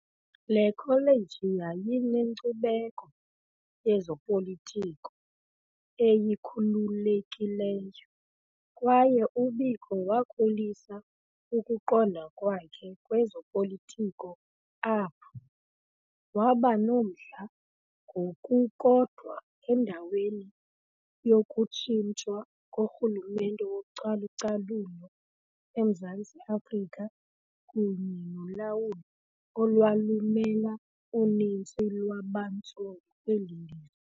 Le kholeji yayinenkcubeko yezopolitiko eyikhululekileyo, kwaye uBiko wakhulisa ukuqonda kwakhe kwezopolitiko apho. . Waba nomdla ngokukodwa endaweni yokutshintshwa korhulumente wocalu-calulo eMzantsi Afrika kunye nolawulo olwalumela uninzi lwabantsundu kweli lizwe.